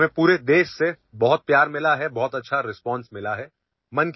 आम्हांला संपूर्ण देशभरातून खूप प्रेम आणि उत्तम प्रतिसाद मिळाला आहे